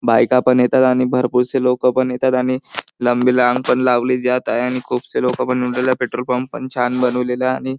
बायका पण येतात आणि भरपूरशी लोक पण येतात आणि लंबी लाइन पण लावली जात आहे आणि खूपशी लोक पन येतात पेट्रोल पंप पण छान बनवेलेला आहे. आणि--